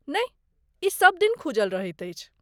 नहि, ई सभ दिन खूजल रहैत अछि।